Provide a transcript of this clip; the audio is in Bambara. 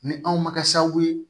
Ni anw ma kɛ sababu ye